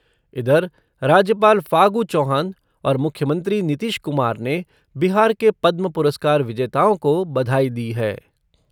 इधर, राज्यपाल फागू चौहान और मुख्यमंत्री नीतीश कुमार ने बिहार के पद्म पुरस्कार विजेताओं को बधाई दी है।